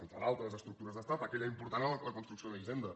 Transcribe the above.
entre d’altres estructures d’estat aquella important era la construcció d’una hisenda